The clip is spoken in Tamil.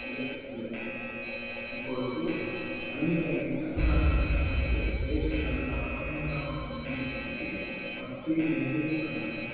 கீழே உள்ளது இப்பொழுது பள்ளிக்கல்வி தமிழ்நாட்டின் கட்டமைப்பு தேசிய அளவிலான பனிரெண்டாம் ஆண்டு பள்ளிப்படிப்பை பத்து இரண்டு